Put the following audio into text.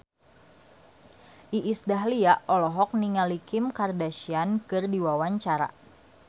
Iis Dahlia olohok ningali Kim Kardashian keur diwawancara